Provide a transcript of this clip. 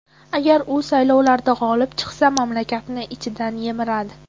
Agar u saylovlarda g‘olib chiqsa, mamlakatni ichidan yemiradi.